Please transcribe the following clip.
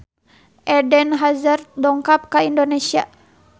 Eden Hazard dongkap ka Indonesia